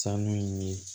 Sanu in ye